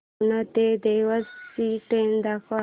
उज्जैन ते देवास ची ट्रेन दाखव